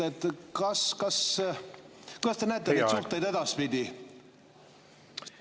te näete neid suhteid edaspidi?